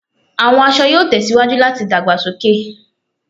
Awọn aṣọ yoo tẹsiwaju lati dagbasoke